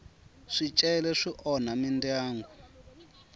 swicele swi onha mindyangu